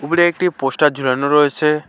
উপরে একটি পোস্টার ঝোলানো রয়েছে।